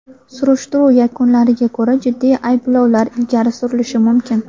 Surishtiruv yakunlariga ko‘ra jiddiy ayblovlar ilgari surilishi mumkin.